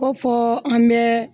Ko fɔ an bɛ